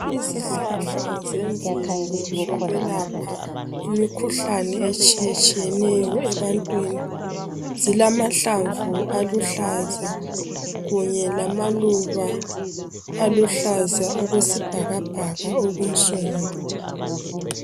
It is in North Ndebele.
Izihlahla zemvelo zokwelapha imikhuhlane etshiyetshiyeneyo ebantwini, zilamahlamvu aluhlaza kunye lamaluba aluhlaza okwesibhakabhaka okunsundu.